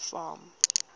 farm